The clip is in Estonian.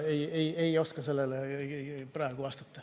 Ei oska sellele praegu vastata.